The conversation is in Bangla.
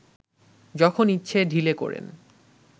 যখন ইচ্ছে ঢিলে করেন